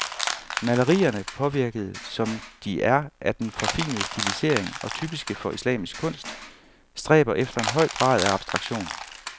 Malerierne, påvirkede som de er af den forfinede stilisering, og typiske for islamisk kunst, stræber efter en høj grad af abstraktion.